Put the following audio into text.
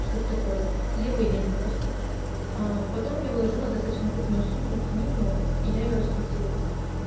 чтоэто такое левые деньги просто аа потом я выложила достаточно крупную сумму в книгу и я её раскрутила